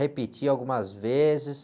Repeti algumas vezes.